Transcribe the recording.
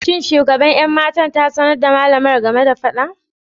Shin shugaban 'yan mata ta sanar da malamar game da fadan?